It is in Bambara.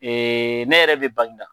Ee ne yɛrɛ be baginda